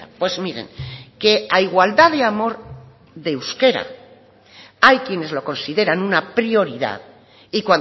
pues miren que a igualdad de amor de euskera hay quienes lo consideran una prioridad y